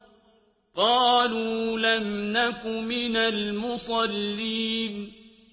قَالُوا لَمْ نَكُ مِنَ الْمُصَلِّينَ